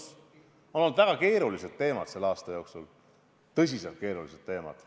Selle aasta jooksul on olnud väga keerulised, tõsiselt keerulised teemad.